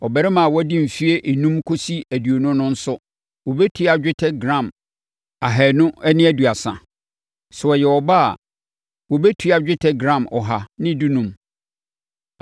abarimaa a wadi mfeɛ enum kɔsi aduonu no nso wɔbɛtua dwetɛ gram ahanu ne aduasa (230). Sɛ ɔyɛ ɔbaa a, wɔbɛtua dwetɛ gram ɔha ne dunum (115).